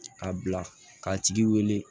A bila ka tigi wele